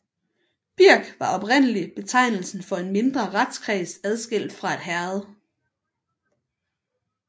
Birk var oprindeligt betegnelsen for en mindre retskreds adskilt fra et herred